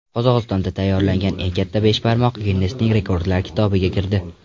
Qozog‘istonda tayyorlangan eng katta beshbarmoq Ginnesning Rekordlar kitobiga kirdi.